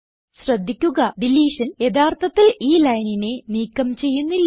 ശ്രദ്ധിക്കുക ഡിലീഷൻ യഥാർത്ഥത്തിൽ ഈ ലൈനിനെ നീക്കം ചെയ്യുന്നില്ല